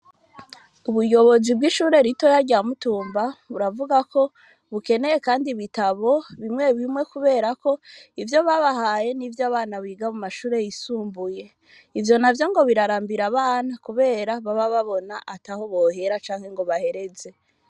Ubuyobozi bw'ishuri ritoya rya Mutumba buravuga ko bukeneye kandi ibitabo bimwe bimwe kuberako ivyo babahaye n'ivyabana biga mu mashuri yisumbuye ivyo navyo ngo birarambira abana kubera baba babona atoho bohera canke ngobahereze.